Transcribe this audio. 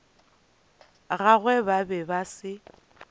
gagwe ba be ba se